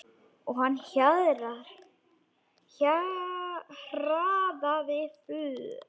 Og hann hraðaði för.